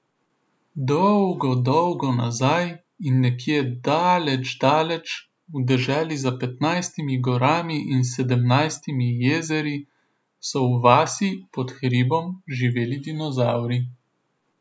Dolgo dolgo nazaj in nekje daleč daleč, v deželi za petnajstimi gorami in sedemnajstimi jezeri, so v vasi pod hribom živeli dinozavri.